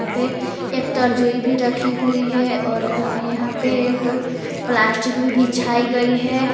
यहां पे एक तर्जोई भी रखी हुई हैं यहां पे एक प्लास्टिक भी बिछाई गई है।